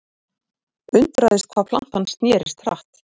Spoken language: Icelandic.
Undraðist hvað platan snerist hratt.